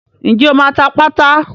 Ǹjẹ́ o máa ta pátá?